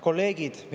Kolleegid!